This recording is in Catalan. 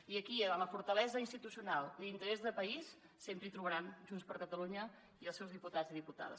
i aquí en la fortalesa institucional i l’interès de país sempre hi trobaran junts per catalunya i els seus diputats i diputades